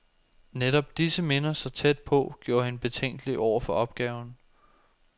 Netop disse minder, så tæt på, gjorde hende betænkelig over for opgaven.